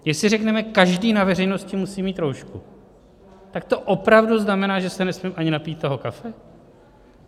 Jestli řekneme "každý na veřejnosti musí mít roušku", tak to opravdu znamená, že se nesmím ani napít toho kafe?